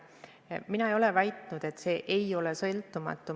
Mina ei ole väitnud, et komisjon ei ole sõltumatu.